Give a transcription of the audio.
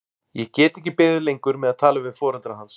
Ég get ekki beðið lengur með að tala við foreldra hans.